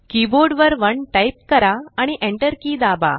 keyboard वर 1 type करा आणि enter की दाबा